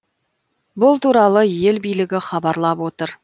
бұл туралы ел билігі хабарлап отыр